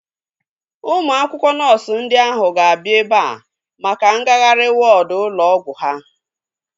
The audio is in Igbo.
Ụmụ akwụkwọ nọọsu ndị ahu ga-abịa ebea maka ngagharị wọọdu ụlọ ọgwụ ha